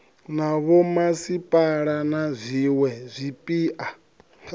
na vhomasipala na zwiwe zwipia